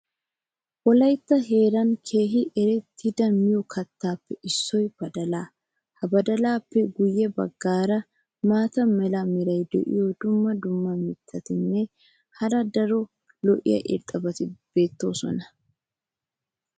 wolaytta heeran keehi erettida miyo kattatuppe issoy badalaa. ha badalaappe guyye baggaara maata mala meray diyo dumma dumma mittatinne hara daro lo'iya irxxabati beetoosona.